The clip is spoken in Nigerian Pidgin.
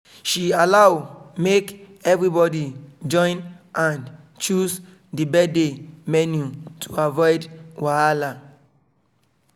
she allow make everybody join hand choose the birthday menu to avoid wahala